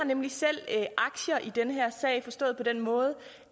nemlig selv aktier i den her sag forstået på den måde